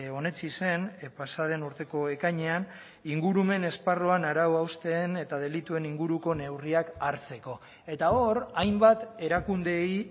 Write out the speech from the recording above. onetsi zen pasa den urteko ekainean ingurumen esparruan arau hausten eta delituen inguruko neurriak hartzeko eta hor hainbat erakundeei